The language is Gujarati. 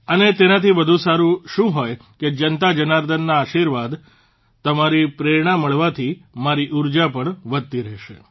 અને તેનાથી વધુ સારૂં શું હોય કે જનતા જનાર્દનના આશિર્વાદ તમારી પ્રેરણા મળવાથી મારી ઉર્જા પણ વધતી રહેશે